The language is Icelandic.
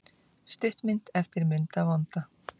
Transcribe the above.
Stuttmynd eftir Munda vonda